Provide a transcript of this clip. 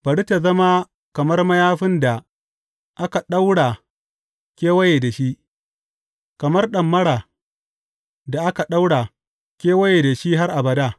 Bari tă zama kamar mayafin da aka ɗaura kewaye da shi, kamar ɗamara da aka ɗaura kewaye da shi har abada.